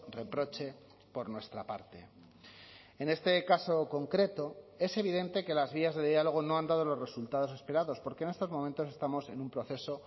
reproche por nuestra parte en este caso concreto es evidente que las vías de diálogo no han dado los resultados esperados porque en estos momentos estamos en un proceso